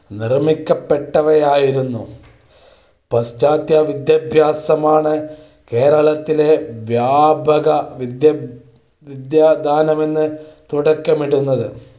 നിർമ്മിക്കപ്പെട്ടവയായിരുന്നു. പാശ്ചാത്യവിദ്യാഭ്യാസമാണ് കേരളത്തിലെ വ്യാപകവിദ്യാദാനത്തിന് തുടക്കമിടുന്നത്